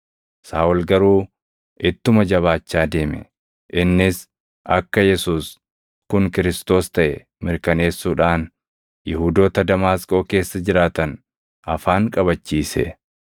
Saaʼol garuu ittuma jabaachaa deeme; innis akka Yesuus kun Kiristoos + 9:22 yookaan Masiihii taʼe mirkaneessuudhaan Yihuudoota Damaasqoo keessa jiraatan afaan qabachiise.